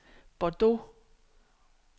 Bordeaux